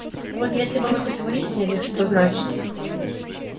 вот если бы мы хоть выяснили что значит